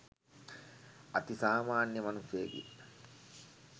අති සාමාන්‍ය මනුස්සයෙකි